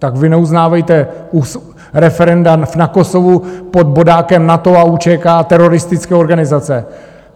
Tak vy neuznávejte referenda v Kosovu pod bodákem NATO a UÇK, teroristické organizace.